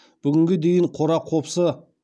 бүгінге дейін қора қопсы